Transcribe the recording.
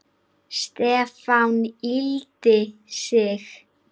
Stefán yggldi sig.